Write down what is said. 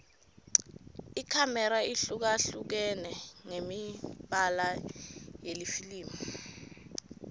ikhamera ihlukahlukene ngemibala yelifilimu